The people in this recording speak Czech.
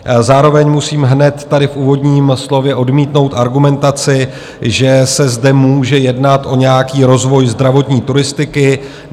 Zároveň musím hned tady v úvodním slově odmítnout argumentaci, že se zde může jednat o nějaký rozvoj zdravotní turistiky.